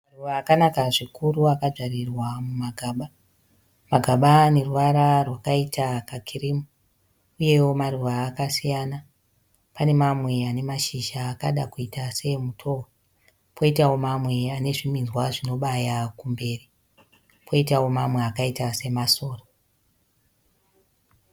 Maruva akanaka zvikuru akadyarirwa mumagaba, magaba ane ruvara rwakaita kakirimu uyewo maruva akasiyana pane mamwe ane mashizha akada kuita seemutohwe poitawo mamwe ane zviminzwa zvinobaya kumberi koitawo mamwe akaita semasora.